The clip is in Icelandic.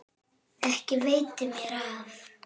Ekki veitti mér af.